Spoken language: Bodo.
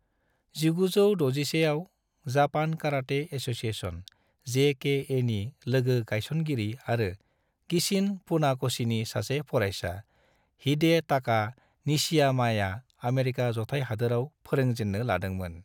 1961 आव, जापान कराटे एसोसिएशन (जेकेए) नि लोगो गायसनगिरि आरो गिचिन फुनाकोशीनि सासे फरायसा, हिडेटाका निशियामाया आमेरिका जथाय हादोराव फोरोंजेन्नो लादोंमोन।